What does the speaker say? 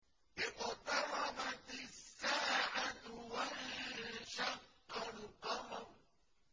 اقْتَرَبَتِ السَّاعَةُ وَانشَقَّ الْقَمَرُ